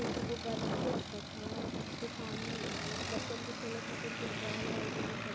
क दुगो गदहा लउकत ह। त् सामने बच्चन के खेले ख़ातिन कुछ बॉल वॉल भी दिखत --